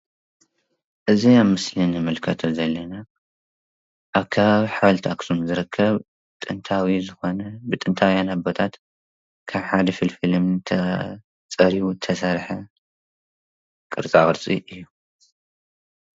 እዚ ምስሊ እንምልከቶ ዘለና ኣብ ከባቢ ሓወልቲ ኣክሱም ዝርከብ ጥንታዊ ዝኾነ ብጥንታውያን ኣቦታት ካብ ሓደ ፍልፍል እምኒ ተጸሪቡ ዝተሰርሐ ቅርጻቅርጺ እዩ።